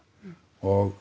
og